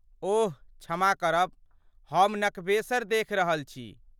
ओह, क्षमा करब हम नकबेसरि देखि रहल छी।